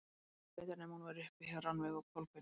Aldrei að vita nema hún væri uppi hjá Rannveigu og Kolbeini.